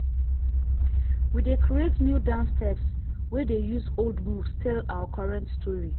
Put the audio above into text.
we dey create new dance steps wey dey use old moves tell our current story.